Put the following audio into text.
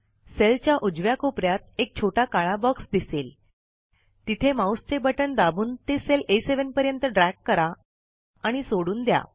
सेलच्या उजव्या कोप यात एक छोटा काळा बॉक्स दिसेल तिथे माऊसचे बटण दाबून ते सेल आ7 पर्यंत ड्रॅग करा आणि सोडून द्या